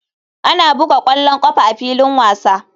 Ana buga ƙwallon ƙafa a filin wasa.